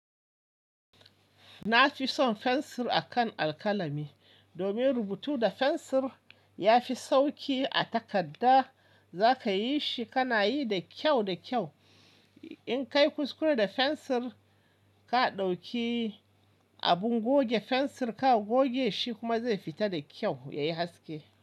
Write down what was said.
Na fi son fensir akan alkalami domin rubutu da fensir ya fi sauƙi. A takadda za ka yi shi, ka na yi da kyau da kyau. In ka yi kuskure da fensir, ka ɗauki abin goge fensir ka goge shi kuma zai fita da kyau, ya yi haske.